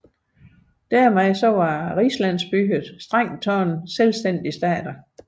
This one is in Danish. Dermed var rigslandsbyerne strengt taget selvstændige stater